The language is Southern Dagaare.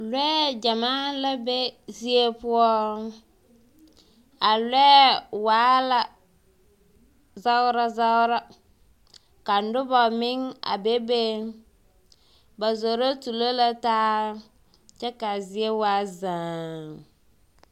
Lɔɛ gyamaa la be zie poɔ, a lɔɛ waa la zagra zagra, ka noba meŋ a be be, ba zoro tuuro la taa kyɛ kaa zie waa zᾱᾱ.